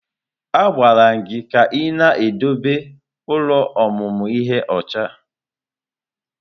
A gwara gị ka ị na-edebe ụlọ ọmụmụ ihe ọcha!